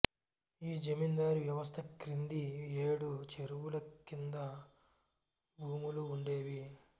ఈ జమీందారి వ్వవస్త క్రింది ఏడు చెరువులు క్రింద భూములు వుండేవి